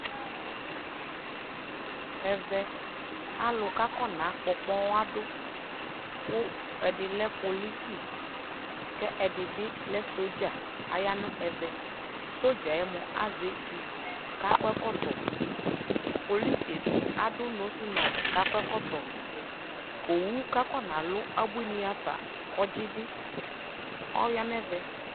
ɛvɛ alʋ kʋ akɔna gbɔ ɔkpɔadʋ kʋ ɛdi lɛ polisi kɛ ɛdi bi lɛ soldier ayanʋ ɛvɛ soldier mʋa azɛ ɛtʋ, polisi bi adʋ nose mask kʋ akɔ ɛkɔtɔ, ɔwʋ kʋ akɔna lʋ abʋini haƒa kɔdzi bi ɔya nʋ ɛvɛ